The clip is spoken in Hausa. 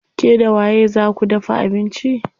Ke da waye zaa ku dafa abinci?